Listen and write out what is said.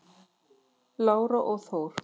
Lára og Þór.